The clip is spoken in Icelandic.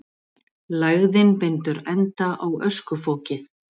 Lægðin bindur enda á öskufokið